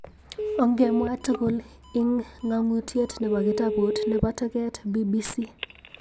Okngemwa tugul ik ng'ang'utyet nebo kitabut nebo toget, BBC.